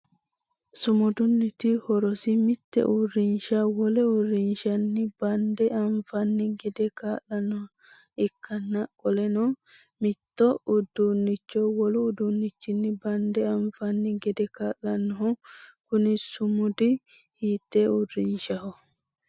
Sumudunniti horosi mite uurinsha wole uurinshanni bande anfanni gede kaa'lanoha ikanna qoleno mitto uduunicho wolu uduunichinni bande anfanni gede kaa'lano kunni sumudi hiitee uurinshaho